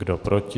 Kdo proti?